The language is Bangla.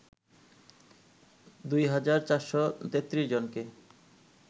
২ হাজার ৪৩৩ জনকে